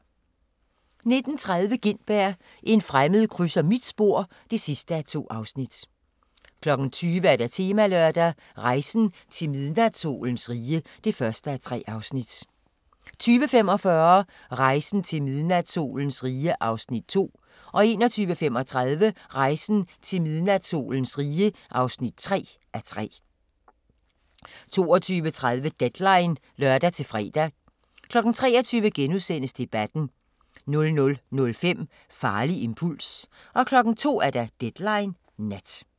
19:30: Gintberg – en fremmed krydser mit spor (2:2) 20:00: Temalørdag: Rejsen til midnatssolens rige (1:3) 20:45: Rejsen til midnatssolens rige (2:3) 21:35: Rejsen til midnatssolens rige (3:3) 22:30: Deadline (lør-fre) 23:00: Debatten * 00:05: Farlig impuls 02:00: Deadline Nat